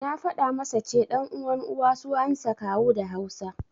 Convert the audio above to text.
Na faɗa masa ce, ɗan uwan Uwa suansa Kawu da Hausa.